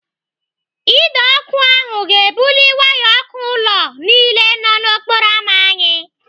Ide ọkụ ahụ ga-ebuli waya ọkụ ụlọ niile nọ n'okporo ámá anyị.